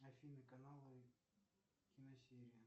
афина каналы киносерия